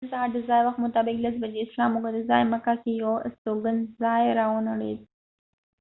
نن سهار د ځایی وخت مطابق لس بجې د اسلام د مقدس ځای مکه کې یو استوګن ځای را ونړید